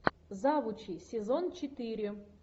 завучи сезон четыре